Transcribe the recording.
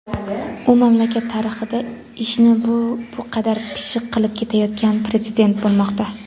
U mamlakat tarixida ishni bu qadar pishiq qilib ketayotgan Prezident bo‘lmoqda.